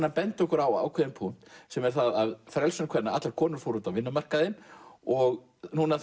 að benda okkur á ákveðinn punkt sem er það að frelsun kvenna allar konur fóru út á vinnumarkaðinn og núna